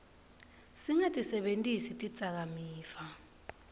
singatisebentisi tidzakamiva